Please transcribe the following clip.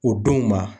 O denw ma